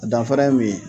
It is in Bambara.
Danfara ye min ye